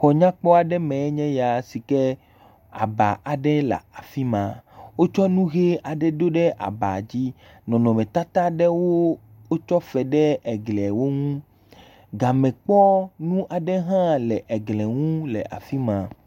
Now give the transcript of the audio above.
Xɔ nyakpɔ aɖe me enye ya si ke aba aɖe le afi ma, wotsɔ nu ʋe aɖe ɖo ɖe aba dzi. Nɔnɔmetata aɖewo wotsɔ fe ɖe egliawo ŋu, gamekpɔnu aɖe hã le eglie ŋu le afi ma.